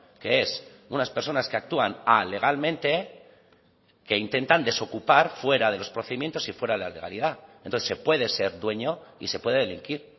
que es unas personas que actúan alegalmente que intentan desocupar fuera de los procedimientos y fuera de la legalidad entonces se puede ser dueño y se puede delinquir